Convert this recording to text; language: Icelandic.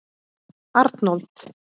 Arnold